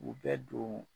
U bɛ don